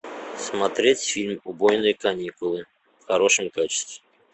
смотреть фильм убойные каникулы в хорошем качестве